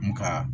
N ka